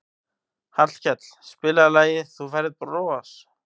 Hallkell, spilaðu lagið „Þú Færð Bros“.